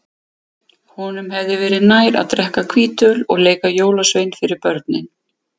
Honum hefði verið nær að drekka hvítöl og leika jólasvein fyrir börnin.